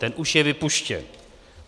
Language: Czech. Ten už je vypuštěn.